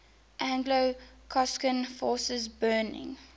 anglo gascon forces burning